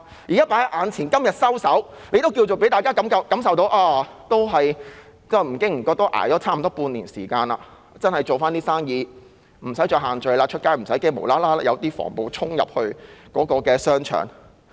如果她今天收手，大家尚且可以感受到不經不覺捱過了差不多半年，現在可以做回生意，外出不用怕有防暴警察突然衝進商場。